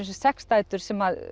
sex dætur sem